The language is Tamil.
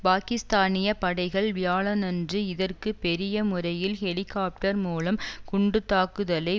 பாக்கிஸ்தானிய படைகள் வியாழனன்று இதற்கு பெரிய முறையில் ஹெலிகாப்டர் மூலம் குண்டு தாக்குதலை